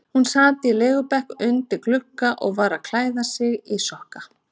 Hún sat á legubekk undir glugga og var að klæða sig í sokk.